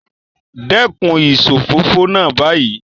Dekun isofofo naa bayii